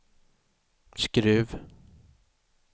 Skruv